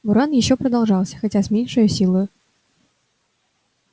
буран ещё продолжался хотя с меньшею силою